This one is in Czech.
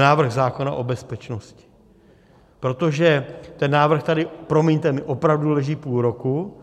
návrh zákona o bezpečnosti, protože ten návrh tady, promiňte mi, opravdu leží půl roku.